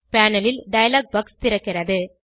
panel ல் dialogue box திறக்கிறது